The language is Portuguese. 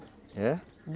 É?